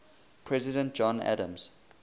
president john adams